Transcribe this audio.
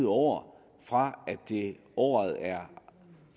år fra året er